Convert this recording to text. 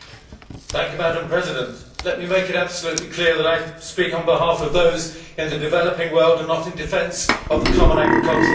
Madam President, let me make it absolutely clear that I speak on behalf of those in the developing world and not in defence of the common agricultural policy.